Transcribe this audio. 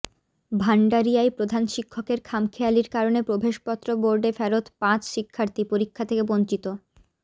ভান্ডারিয়ায় প্রধান শিক্ষকের খামখেয়ালির কারনে প্রবেশপত্র বোর্ডে ফেরৎ পাঁচ শিক্ষার্থী পরীক্ষা থেকে বঞ্চিত